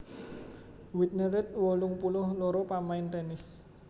Whitney Reed wolung puluh loro pamain tènis